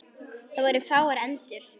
Það voru fáar endur.